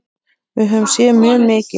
Við höfum séð mjög mikið.